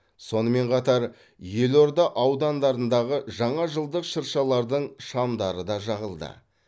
сонымен қатар елорда аудандарындағы жаңажылдық шыршалардың шамдары да жағылды